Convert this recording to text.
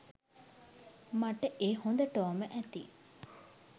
මට ඒ හොඳටෝම ඇති.